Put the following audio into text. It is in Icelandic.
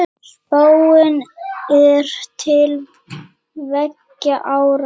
Spáin er til tveggja ára.